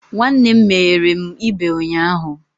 Nwanne m meghere m ibe ụnyahụ.